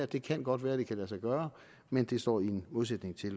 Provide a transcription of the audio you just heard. det kan godt være at det kan lade sig gøre men det står i modsætning til at